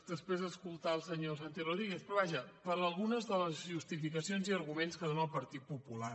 després d’escoltar el senyor santi rodríguez però vaja per algunes de les justificacions i arguments que dóna el partit popular